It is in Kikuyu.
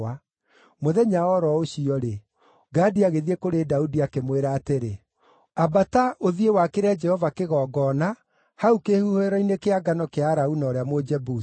Mũthenya o ro ũcio-rĩ, Gadi agĩthiĩ kũrĩ Daudi, akĩmwĩra atĩrĩ, “Ambata, ũthiĩ wakĩre Jehova kĩgongona, hau kĩhuhĩro-inĩ kĩa ngano kĩa Arauna ũrĩa Mũjebusi.”